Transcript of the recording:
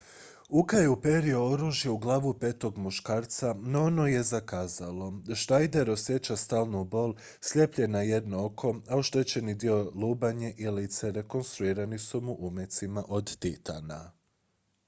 uka je uperio oružje u glavu petog muškarca no ono je zakazalo schneider osjeća stalnu bol slijep je na jedno oko a oštećeni dio lubanje i lice rekonstruirani su mu umecima od titana